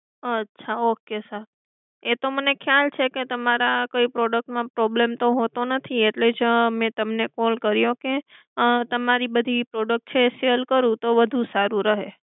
અચ્છા okay sir એ તો મને ખ્યાલ છે કે તમારા કોઈ product માં problem તો હોતો નથી. એટલે જ મે તમને call કર્યો કે તમારી બધી product છે sell કરું તો વધુ સારું રહે.